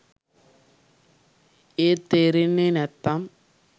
ඒත් තේරෙන්නේ නැත්නම්